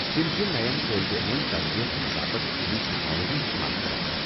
تِم چھِ ننین طٲلب علمن تربیت دِنہٕ باپت جدید تکنالجی استعمال کٔران۔